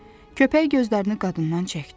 Köpək gözlərini qadından çəkdi.